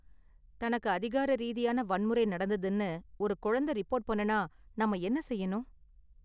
தனக்கு அதிகார ரீதியான வன்முறை நடந்ததுனு ஒரு குழந்த ரிப்போர்ட் பண்ணுனா நாம என்ன செய்யணும்?